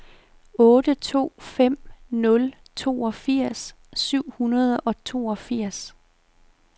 otte to fem nul toogfirs syv hundrede og toogfirs